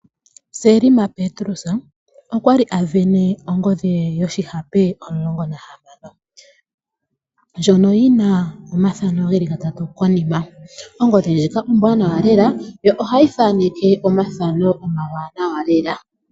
Selma Petrus okwa li a sindana ongodhi ye yoshihape omulongo nahamano ndjono yina omathano geli gatatu konima. Ongodhi ndjika ombwanawa lela, yo ohayi thaaneke omathano omawaanawa lela.